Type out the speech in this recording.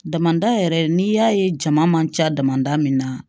Damanda yɛrɛ n'i y'a ye jama man ca damada min na